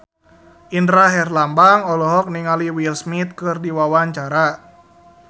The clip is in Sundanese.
Indra Herlambang olohok ningali Will Smith keur diwawancara